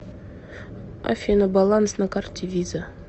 афина баланс на карте виза